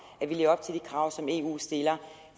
at vi lever op til de krav som eu stiller